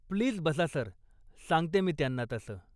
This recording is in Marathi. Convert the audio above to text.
प्लीज बसा सर, सांगते मी त्यांना तसं.